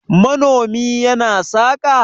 manomi yana saka?